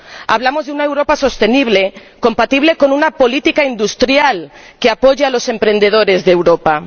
Hablamos de una Europa sostenible, compatible con una política industrial que apoye a los emprendedores de Europa.